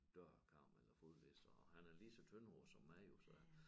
Dørkam eller fodliste og han er lige så tyndhåret som mig jo så